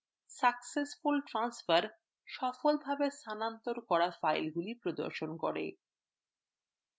successful transferসফলভাবে স্থানান্তর করা ফাইলগুলি প্রদর্শন করে